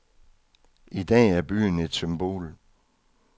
I dag er byen et symbol.